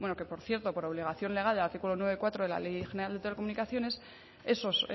que por cierto por obligación legal del artículo noventa y cuatro de la ley general de telecomunicaciones esos